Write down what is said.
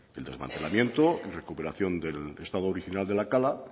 el desmantelamiento y recuperación del estado original de la cala